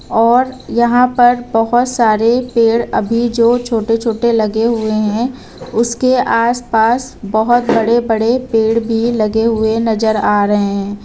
और यहां पर बहोत सारे पेड़ अभी जो छोटे छोटे लगे हुए हैं उसके आसपास बहोत बड़े बड़े पेड़ भी लगे हुए नजर आ रहे हैं।